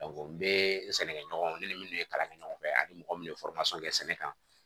n bɛ sɛnɛkɛ ɲɔgɔnw ne ni minnu ye kalan kɛ ɲɔgɔn fɛ ani mɔgɔ minnu ye kɛ sɛnɛ kan